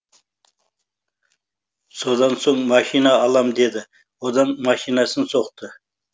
содан соң машина алам деді одан машинасын соқты